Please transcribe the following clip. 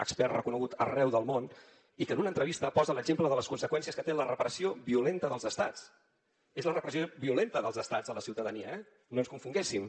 expert reconegut arreu del món i que en una entrevista posa l’exemple de les conseqüències que té la repressió violenta dels estats és la repressió violenta dels estats a la ciutadania eh no ens confonguéssim